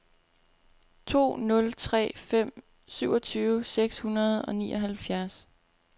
to nul tre fem syvogtyve seks hundrede og nioghalvfjerds